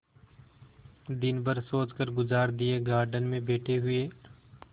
दिन भर सोचकर गुजार दिएगार्डन में बैठे हुए